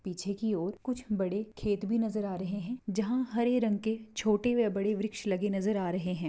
पीछे की और कुछ बड़े खेत भी नजर आ रहे है जहा हरे रंग के छोटे या बड़े वृक्ष लगे नजर आ रहे है।